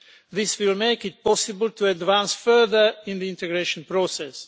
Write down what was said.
This will make it possible to advance further in the integration process.